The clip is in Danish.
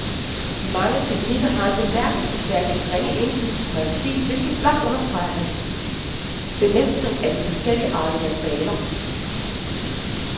De mange teknikker har en bemærkelsesværdig ringe indflydelse på hans stil, hvilket blot understreger hans bemestring af de forskelligartede materialer.